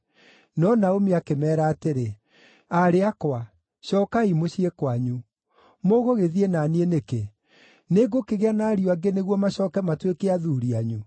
No Naomi akĩmeera atĩrĩ, “Aarĩ akwa, cookai mũciĩ kwanyu. Mũgũgĩthiĩ na niĩ nĩkĩ? Nĩngũkĩgĩa na ariũ angĩ nĩguo macooke matuĩke athuuri anyu?